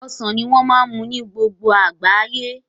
Ọsàn ní wọ́n á ma mú ní gbogbo àgbáyé